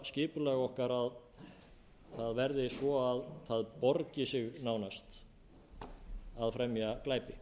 skipulag okkar að það verði svo að það borgi sig nánast að fremja glæpi